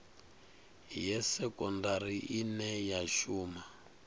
ya sekondari ine ya shuma